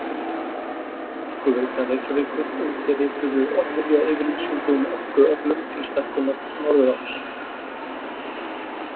Orkuveita Reykjavíkur undirrituðu viljayfirlýsingu um orkuöflun til stækkunar Norðuráls.